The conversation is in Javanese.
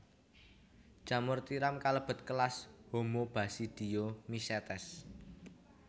Jamur tiram kalebet kelas Homobasidiomycetes